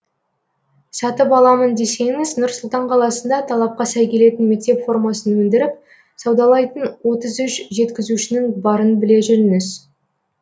сатып аламын десеңіз нұр сұлтан қаласында талапқа сай келетін мектеп формасын өндіріп саудалайтын отыз үш жеткізушінің барын біле жүріңіз